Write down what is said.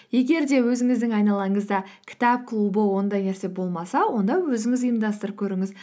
егер де өзіңіздің айналаңызда кітап клубы ондай нәрсе болмаса онда өзіңіз ұйымдастырып көріңіз